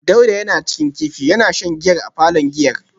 Dauda yana cin kifi yana shan giyar a palon giyar